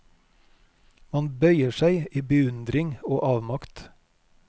Man bøyer seg i beundring og avmakt.